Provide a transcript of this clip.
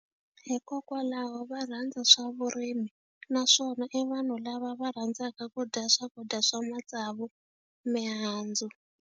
Hikokwalaho va rhandza swa vurimi naswona i vanhu lava va rhandzaka ku dya swakudya swa matsavu mihandzu.